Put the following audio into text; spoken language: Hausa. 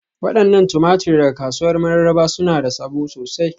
Wadannan tumatur daga kasuwar Mararaba suna da sabo sosai.